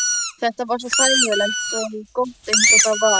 Þetta var svo þægilegt og gott eins og það var.